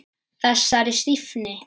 Þessari stífni.